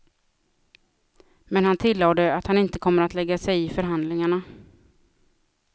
Men han tillade att han inte kommer att lägga sig i förhandlingarna.